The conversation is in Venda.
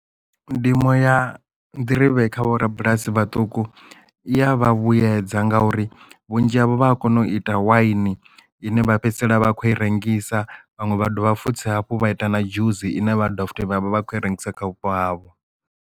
Ndimo ya nḓirivhe kha vho rabulasi vhaṱuku iya vha vhuyedza ngauri vhunzhi havho vha a kona u ita waini ine vha fhedzisela vha khou i rengisa vhaṅwe vha dovha futhi hafhu vha ita na dzhusi ine vha dovha futhi vhavha vha khou i rengisa kha vhupo havho.